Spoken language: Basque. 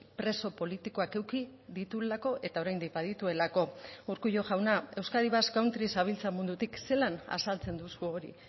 preso politikoak eduki dituelako eta oraindik badituelako urkullu jauna euskadi basque country zabiltza mundutik zelan azaltzen duzu hori